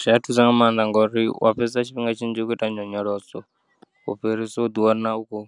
Zwia thusa nga maanḓa ngori uya fhedza tshifhinga tshinzhi u khou ita nyonyoloso ufhirisa uḓi wana ukho